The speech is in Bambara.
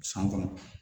San kɔnɔ